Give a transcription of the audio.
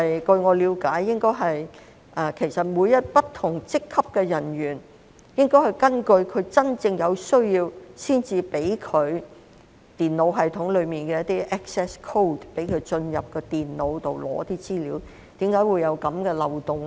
據我了解，其實每位不同職級的人員，也應該在有真正需要時，才可得到電腦系統中的一些 access code， 讓他進入電腦拿取資料，為何今次會出現這個漏洞呢？